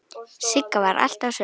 Sigga var alltaf söm.